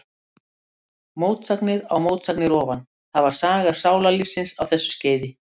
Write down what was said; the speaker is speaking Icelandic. Mótsagnir á mótsagnir ofan, það var saga sálarlífsins á þessu skeiði.